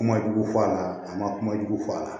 Kuma jugu fɔ a la a ma kuma jugu fɔ a la